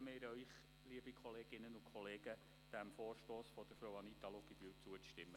Deshalb bitten wir Sie, liebe Kolleginnen und Kollegen, dem Vorstoss von Frau Anita Luginbühl zuzustimmen.